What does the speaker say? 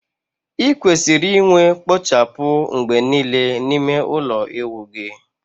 Ị kwesịrị inwe kpochapu mgbe niile n'ime ụlọ ịwụ gị